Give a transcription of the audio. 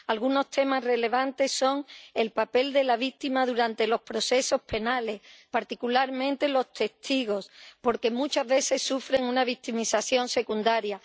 Algunos temas relevantes son el papel de las víctimas durante los procesos penales, particularmente los testigos, porque muchas veces sufren una victimización secundaria.